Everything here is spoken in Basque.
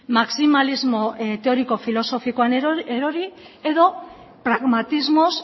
maximalismo teoriko filosofikoan erori edo pragmatismoz